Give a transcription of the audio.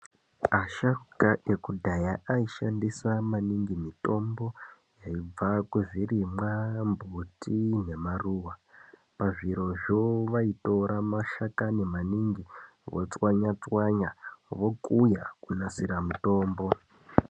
Asharuka ekudhaya ayi shandisa maningi mitombo yaibva ku zvirimwa mbuti ne maruva pazvirozvo vaitora mashakani maningi vo tswanya tswanya vokuya kunasira mutombo.